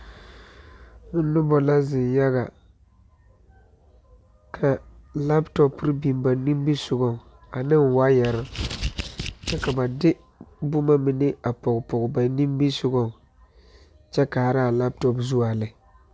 Noba la zeŋ yaga ka lapotɔpere biŋ ba nimisɔgaŋ ane wayari kyɛ ka ba de bomamine a pɔge pɔge banimisɔgɔŋ kyɛ kaara a lapotɔpe zu a lɛ.